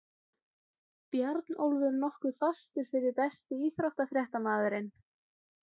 Bjarnólfur nokkuð fastur fyrir Besti íþróttafréttamaðurinn?